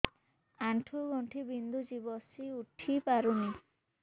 ଆଣ୍ଠୁ ଗଣ୍ଠି ବିନ୍ଧୁଛି ବସିଉଠି ପାରୁନି